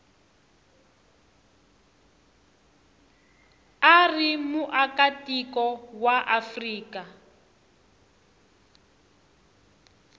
u ri muakatiko wa afrika